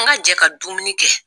An ka jɛ ka dumuni kɛ